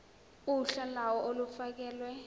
uhla lawo olufakelwe